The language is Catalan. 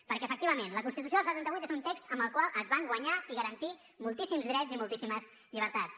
perquè efectivament la constitució del setanta vuit és un text amb el qual es van guanyar i garantir moltíssims drets i moltíssimes llibertats